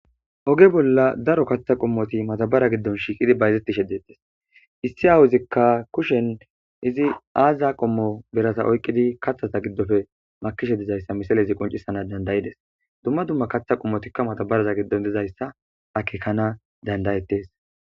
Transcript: oge bolla daro kaththa qommoti matabara giddon shiiqidi bayzetti shedettes issi aawuzikka kushen izi aaziya qommo berasa oyqqidi kathata giddofe makishe dizayssa misale izi qoncissana dandayides dumma dumma kaththa qommotikka matabaraza giddon dizayssa akekana dandayettes